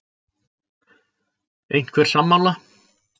Einhver sammála?